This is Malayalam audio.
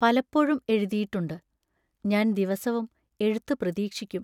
പലപ്പോഴും എഴുതിയിട്ടുണ്ട്, ഞാൻ ദിവസവും എഴുത്തു പ്രതീക്ഷിക്കും.